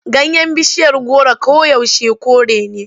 Ganyen bishiyar goro koyaushe kore ne.